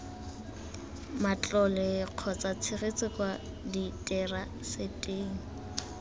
matlole kgotsa tshegetso kwa diteraseteng